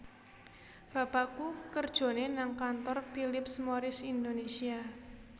Bapakku kerjone nang kantor Philip Morris Indonesia